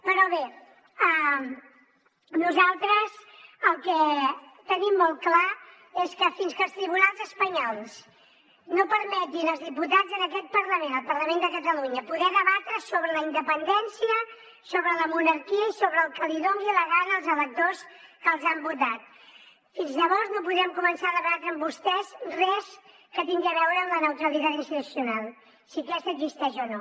però bé nosaltres el que tenim molt clar és que fins que els tribunals espanyols no permetin als diputats en aquest parlament al parlament de catalunya poder debatre sobre la independència sobre la monarquia i sobre el que els doni la gana als electors que els han votat fins llavors no podem començar a debatre amb vostès res que tingui a veure amb la neutralitat institucional si aquesta existeix o no